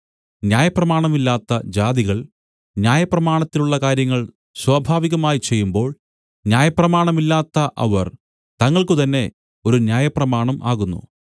ന്യായപ്രമാണമില്ലാത്ത ജാതികൾ ന്യായപ്രമാണത്തിലുള്ള കാര്യങ്ങൾ സ്വാഭാവികമായി ചെയ്യുമ്പോൾ ന്യായപ്രമാണമില്ലാത്ത അവർ തങ്ങൾക്കു തന്നേ ഒരു ന്യായപ്രമാണം ആകുന്നു